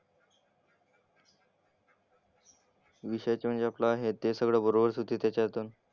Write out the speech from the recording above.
विषयाचं म्हणजे आपलं हे ते सगळं बरोबरच येते त्याच्यातून.